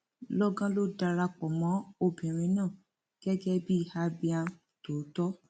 lọgán ló darapọ mọ obìnrin náà gẹgẹ bíi abiam tòótọ